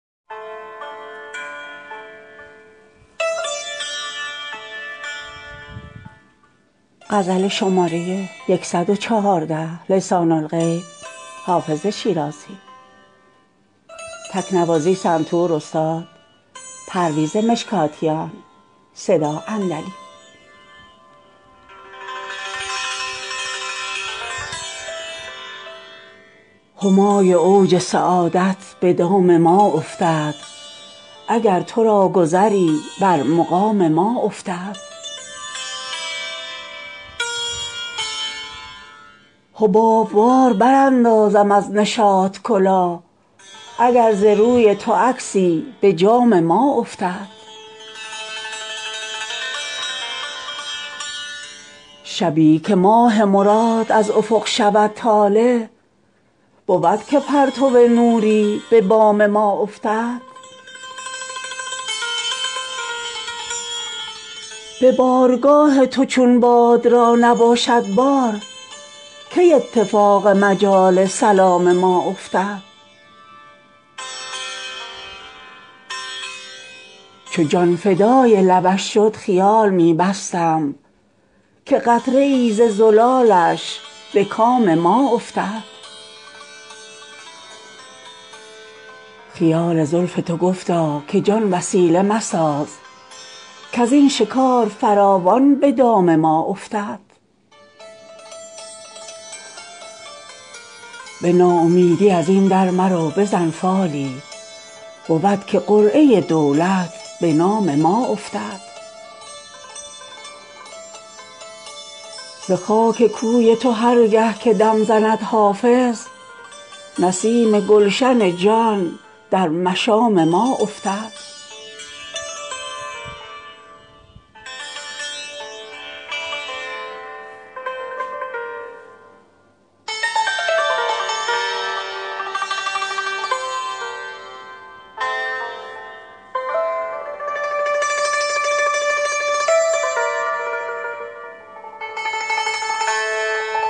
همای اوج سعادت به دام ما افتد اگر تو را گذری بر مقام ما افتد حباب وار براندازم از نشاط کلاه اگر ز روی تو عکسی به جام ما افتد شبی که ماه مراد از افق شود طالع بود که پرتو نوری به بام ما افتد به بارگاه تو چون باد را نباشد بار کی اتفاق مجال سلام ما افتد چو جان فدای لبش شد خیال می بستم که قطره ای ز زلالش به کام ما افتد خیال زلف تو گفتا که جان وسیله مساز کز این شکار فراوان به دام ما افتد به ناامیدی از این در مرو بزن فالی بود که قرعه دولت به نام ما افتد ز خاک کوی تو هر گه که دم زند حافظ نسیم گلشن جان در مشام ما افتد